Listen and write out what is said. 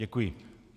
Děkuji.